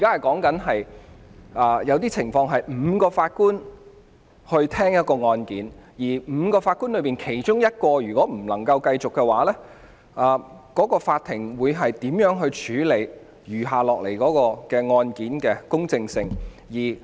在某些情況下，案件須由5名法官聽審，而當其中一名法官無法繼續時，法庭會如何處理案件餘下程序的公正性。